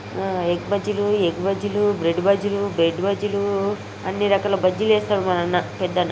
ఆ ఎగ్ బజ్జీలు ఎగ్ బజ్జీలు బ్రెడ్ బజ్జీలు బ్రెడ్ బజ్జీలు అన్నీ రకాల బజ్జీలు ఎస్తారు మన అన్న పెద్ద అన్న.